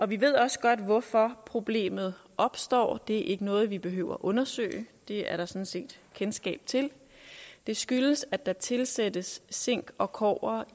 vi ved også godt hvorfor problemet opstår det er ikke noget vi behøver undersøge det er der sådan set kendskab til det skyldes at der tilsættes zink og kobber